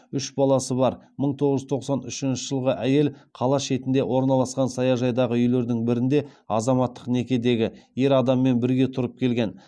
үш баласы бар мың тоғыз жүз тоқсан үшінші жылғы әйел қала шетінде орналасқан саяжайдағы үйлердің бірінде азаматтық некедегі ер адаммен бірге тұрып келген